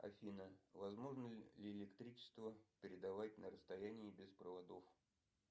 афина возможно ли электричество передавать на расстоянии без проводов